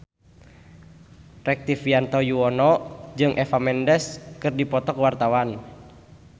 Rektivianto Yoewono jeung Eva Mendes keur dipoto ku wartawan